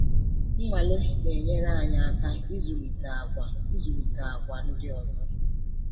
Nnwale um na-enyere anyị aka ịzụlite àgwà ịzụlite àgwà ndị ọzọ.